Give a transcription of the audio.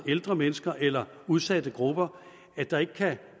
ældre mennesker eller udsatte grupper der ikke kan